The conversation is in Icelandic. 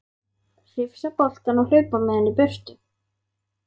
Hrifsa boltann og hlaupa með hann í burtu.